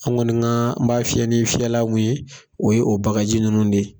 An kɔni ka b'a fiyɛ ni fiyɛla mun ye o ye o bagaji ninnu de ye.